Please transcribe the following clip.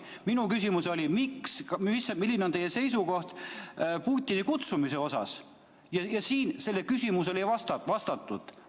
Minu küsimus oli, milline on välisministri seisukoht Putini kutsumise kohta, aga sellele küsimusele ei vastatud.